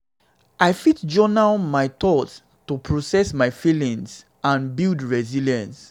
i fit journal my thoughts to process my feelings and feelings and build resilience.